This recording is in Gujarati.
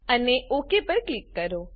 અને ઓક પર ક્લિક કરો